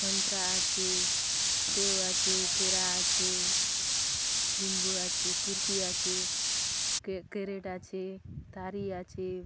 संतरा आचे सेव आचे केला आचे निम्बू आचे कुर्सी आचे कैरट आचे थारी आचे।